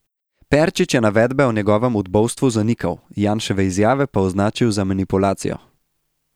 Perčič je navedbe o njegovem udbovstvu zanikal, Janševe izjave pa označil za manipulacijo.